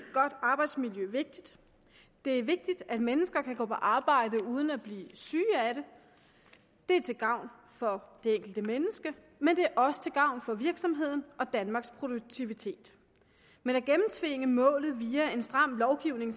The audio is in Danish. godt arbejdsmiljø vigtigt det er vigtigt at mennesker kan gå på arbejde uden at blive syge af det det er til gavn for det enkelte menneske men det er også til gavn for virksomheden og danmarks produktivitet men at gennemtvinge målet via en stram lovgivning